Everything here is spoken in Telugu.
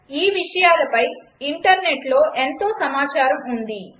ఈ విషయాలపై ఇంటర్నెట్లో ఎంతో సమాచారం ఉంది